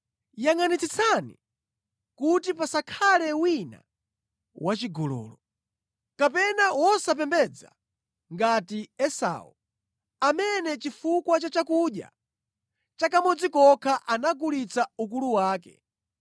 Yangʼanitsitsani kuti pasakhale wina wachigololo. Kapena wosapembedza ngati Esau, amene chifukwa cha chakudya cha kamodzi kokha anagulitsa ukulu wake.